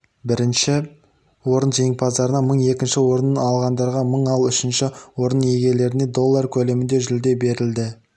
бірінші орын жеңімпаздарына мың екінші орын алғандарға мың ал үшінші орын иегерлеріне доллары көлемінде жүлде берілді